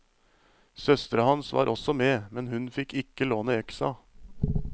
Søstera hans var også med, men hun fikk ikke låne øksa.